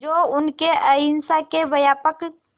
जो उनके अहिंसा के व्यापक